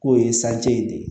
K'o ye sanji de ye